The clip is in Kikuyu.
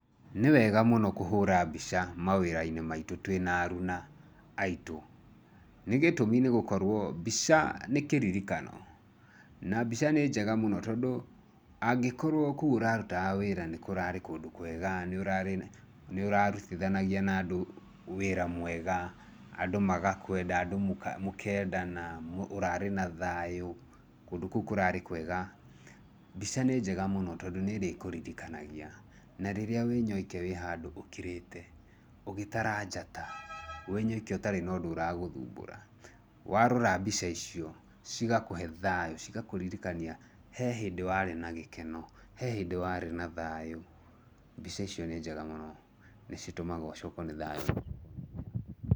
Nĩ wega mũno kũhũra mbica mawĩra-inĩ maitũ twĩna aruna aitũ. Nĩ gĩtũmi nĩ gũkorwo mbica nĩ kĩririkano. Na mbica nĩ njega muno tondũ angĩkorwo kũu ũrarutaga wĩra nĩ kũrarĩ kũndũ kwega, nĩ ũrarutithanagia na andũ wĩra mwega, andũ magakwenda, andũ mũkendana, ũrarĩ na thayũ, kũndũ kũu kũrarĩ kwega, mbica nĩ njega mũno tondũ nĩ ĩrĩkũririkanagia, na rĩrĩa wĩ nyoike wĩ handũ ũkirĩte, ũgĩtara njata, wĩ nyoike ũtarĩ na ũndũ ũragũthumbũra, warora mbica icio cigakũhe thayũ. Cigakũririkania he hĩndĩ warĩ na gĩkeno, he hĩndĩ warĩ na thayũ, mbica icio nĩ njega mũno nĩ citũmaga ũcokwo nĩ thayũ?